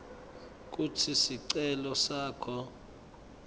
kutsi sicelo sakho